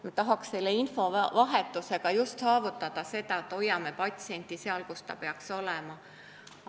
Me tahaksime selle infovahetusega saavutada just seda, et hoiame patsienti seal, kus ta peaks olema.